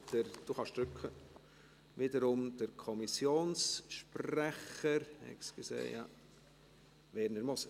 Das Wort hat wiederum der Kommissionspräsident, Werner Moser.